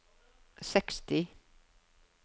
seksti